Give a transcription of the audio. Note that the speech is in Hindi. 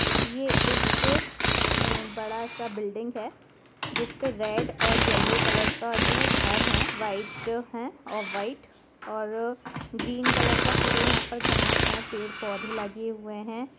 ये एक बड़ा सा बिल्डिंग है जिसपे रेड और येलो कलर का जो हैघर है व्हाइट है और ग्रीन का पूरे घास है और यहां पेड़-पौधे है।